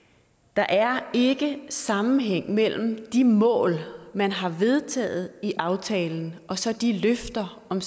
der er ikke sammenhæng mellem de mål man har vedtaget i aftalen og så de løfter om